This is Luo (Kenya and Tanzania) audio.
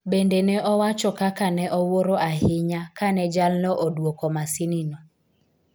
Bende ne owacho kaka ne owuoro ahinya kane jalno odwoko masinino.